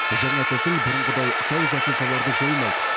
жаңа тәсіл бұрынғыдай сау жасушаларды жоймайды